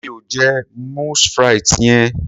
Mi ò jẹ moules frites yen.